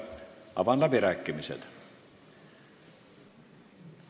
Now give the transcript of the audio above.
Avan läbirääkimised.